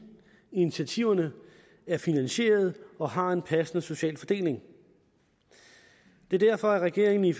initiativer der er finansierede og har en passende social fordeling det er derfor at regeringen i